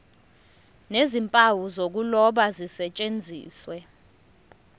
nezimpawu zokuloba zisetshenziswe